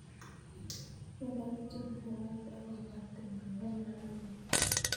Ye ndapitio mugongiot ak kopwa timdo ko maame kiy